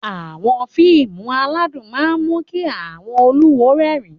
Àwọn fíìmù aládùn máa ń mú kí àwọn olùwò rẹ́rìn-ín